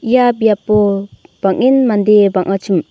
ia biapo bang·en mande bang·achim.